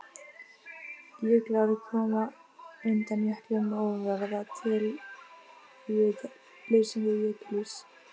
Jökulár koma undan jöklum og verða til við leysingu jökulíss.